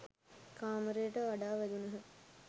කාමරයට කඩා වැදුණහ